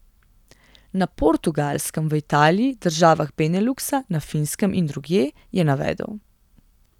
Na Portugalskem, v Italiji, državah Beneluksa, na Finskem in drugje, je navedel.